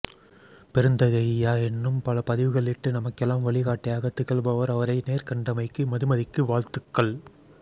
பெருந்தகை இயா இன்னும் பல பதிவுகளிட்டு நமக்கெல்லாம் வழிகாட்டியாக திகழ்பவர் அவரை நேர்கண்டமைக்கு மதுமதிக்கு வாழ்த்துக்கள்